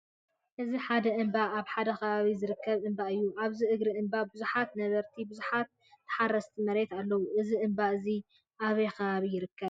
እዚ ሓደ እምባ ኣብ ሓደ ከባቢ ዝርከብ እምባ እዩ። ኣብዚ እግሪ እምባ ቡዙሓት ነበርትን ቡዙሓት ተሓረስቲ መሬትን ኣለዉ። እዚ እምባ እዚ ኣበይ ከባቢ ይርከብ?